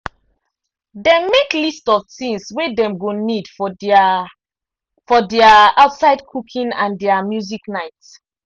dem make list of things wey dem go need for their for their outside cooking and their music night.